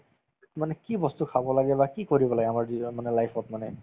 মানে কি বস্তু খাব লাগে বা কি কৰিব লাগে আমাৰ জীৱ মানে life ত মানে